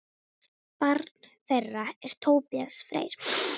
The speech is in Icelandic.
Barn þeirra er Tobías Freyr.